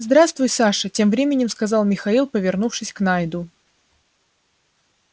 здравствуй саша тем временем сказал михаил повернувшись к найду